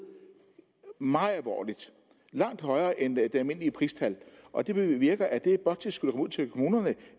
meget alvorligt langt højere end det almindelige pristal og det bevirker at det bloktilskud ud til kommunerne